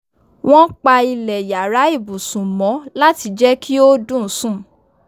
wón pa ilẹ̀ yàrá ibùsùn mọ́ láti jẹ́ kí ó dùn sún